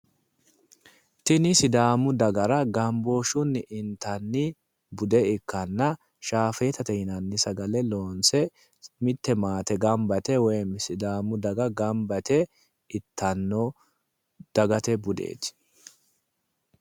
Tini sidaamu dagara gambooshshunni intanni bude ikkanna shaafetate yinanni sagale loonse mitte maate gamba yite woyim sidaamu daga gamba yite ittanno dagate budeeti.